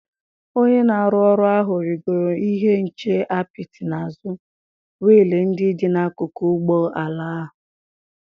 Onye na-arụ ọrụ ahụ rịgoro ihe nche apịtị n'azụ wiil ndị dị n'akụkụ ụgbọ ala ahụ.